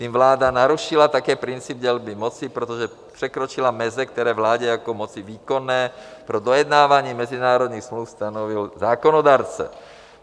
Tím vláda narušila také princip dělby moci, protože překročila meze, které vládě jako moci výkonné pro dojednávání mezinárodních smluv stanovil zákonodárce.